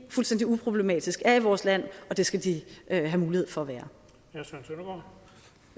fuldstændig uproblematisk er i vores land og det skal de have mulighed for